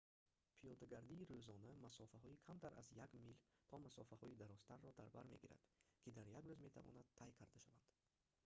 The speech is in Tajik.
пиёдагардии рӯзона масофаҳои камтар аз як мил то масофаҳои дарозтарро дар бар мегирад ки дар як рӯз метавонанд тай карда шаванд